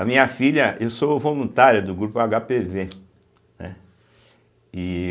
A minha filha, eu sou voluntário do grupo agápêvê, né e